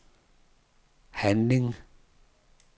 handling